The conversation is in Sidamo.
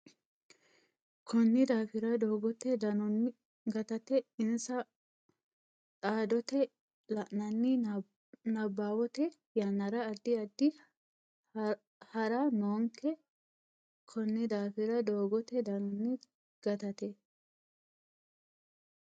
Konni daafira doogote danonni gatate insa dhaaddote la nanni nabbawatto yannara addi addi ha ra noonke Konni daafira doogote danonni gatate.